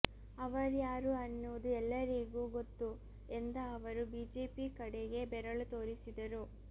ಅವರ್ಯಾರು ಅನ್ನುವುದು ಎಲ್ಲರಿಗೂ ಗೊತ್ತು ಎಂದ ಅವರು ಬಿಜೆಪಿ ಕಡೆಗೆ ಬೆರಳು ತೋರಿಸಿದರು